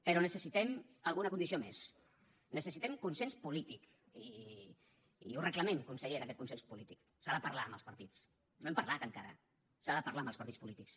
però necessitem alguna condició més necessitem consens polític i el reclamem consellera aquest consens polític s’ha de parlar amb els partits no hem parlat encara s’ha de parlar amb els partits polítics